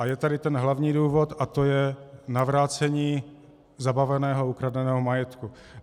A je tady ten hlavní důvod a to je navrácení zabaveného a ukradeného majetku.